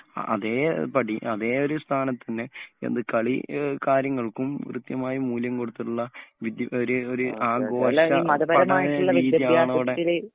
അതേ പടി അതേ ഒരു സ്ഥാനത്ത് തന്നെ എന്ത് കളി കാര്യങ്ങൾക്കും കൃത്യമായ മൂല്യം കൊടുത്തിട്ടുള്ള ഒരു ആഘോഷ പഠന രീതിയാണ് ഇവിടെ